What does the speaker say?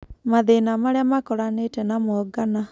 Mathĩna marĩa makoranĩte namo Ngana